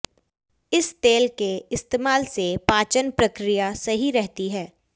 इस तेल के इस्तेमाल से पाचन प्रक्रिया सही रहती है